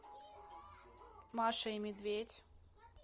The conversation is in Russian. маша и медведь